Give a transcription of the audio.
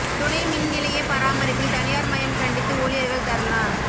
துணை மின் நிலைய பராமரிப்பில் தனியார் மயம் கண்டித்து ஊழியர்கள் தர்ணா